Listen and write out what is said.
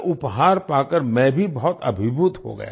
यह उपहार पाकर मैं भी बहुत अभिभूत हो गया